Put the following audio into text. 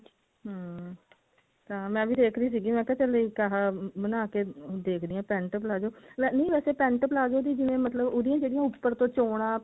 ਹਮ ਹਾਂ ਮੈਂ ਵੀ ਦੇਖ ਰਹੀ ਸੀਗੀ ਮੈਂ ਕਿਹਾ ਚੱਲ ਇੱਦਾਂ ਦਾ ਬਣਾਕੇ ਦੇਖਦੀ ਹਾਂ pent palazzo ਨਹੀਂ ਵੈਸੇ pent palazzo ਜਿਵੇਂ ਮਤਲਬ ਉਹਦੀਆਂ ਜਿਹੜੀਆਂ ਉੱਪਰ ਤੋਂ ਚੋਣਾ